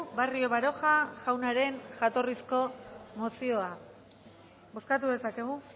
barrio baroja jaunaren jatorrizko mozioa bozkatu dezakegu